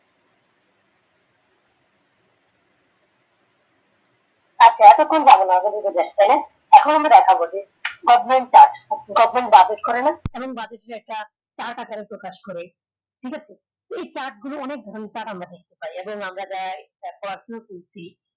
আচ্ছা এতখন আমি দেখাব যে government task government করে না chart আকারে প্রকাশ করে ঠিক আছে এই chart গুলো অনেক আমরা যে পড়া শোনা করছি